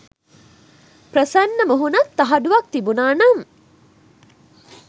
ප්‍රසන්න මුහුණත් තහඩුවක් තිබුණා නම්